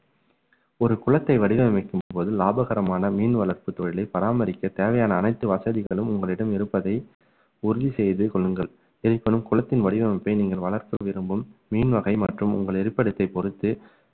ஒரு குளத்தை வடிவமைக்கும்போது லாபகரமான மீன் வளர்ப்பு தொழிலை பராமரிக்க தேவையான அனைத்து வசதிகளும் உங்களிடம் இருப்பதை உறுதி செய்து கொள்ளுங்கள் இருப்பினும் குளத்தின் வடிவமைப்பை நீங்கள் வளர்க்க விரும்பும் மீன் வகை மற்றும் உங்கள் இருப்பிடத்தை பொறுத்து